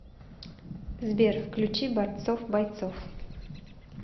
сбер включи борцов бойцов